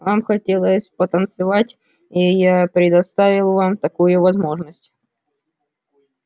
вам хотелось потанцевать и я предоставил вам такую возможность